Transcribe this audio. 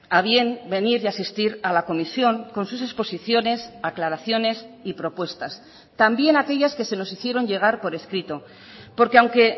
a bien venir y asistir a la comisión con sus exposiciones aclaraciones y propuestas también aquellas que se nos hicieron llegar por escrito porque aunque